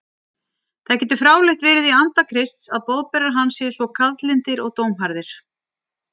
Það getur fráleitt verið í anda Krists að boðberar hans séu svo kaldlyndir og dómharðir.